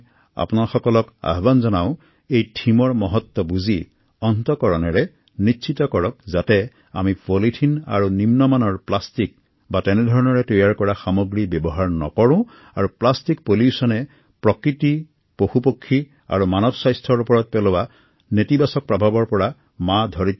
মই আপোনালোকক আহ্বান জনাও যে এই বিষয়টোৰ গুৰুত্ব বুজি আমি কোনেও যাতে নিম্ন মানৰ পলিথিনপ্লাষ্টিক ব্যৱহাৰ নকৰো আৰু প্লাষ্টিক প্ৰদূষণৰ নেতিবাচক প্ৰভাৱৰ পৰা আমাৰ পৰিৱেশ আমাৰ বন্যপ্ৰাণী আৰু আমাৰ স্বাস্থ্যক দূৰত ৰাখো